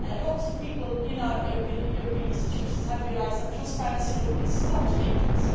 Lots of people in our European institutions have realised that transparency and openness is not dangerous.